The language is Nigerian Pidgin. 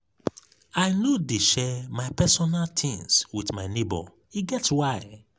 i no dey share my personal tins wit my nebor e get why.